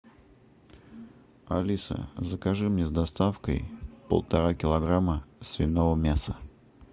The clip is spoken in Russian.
алиса закажи мне с доставкой полтора килограмма свиного мяса